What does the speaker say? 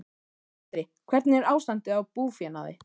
Andri: Hvernig er ástandið á búfénaði?